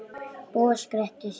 Bóas gretti sig.